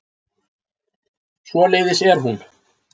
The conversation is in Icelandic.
Svoleiðis er hún.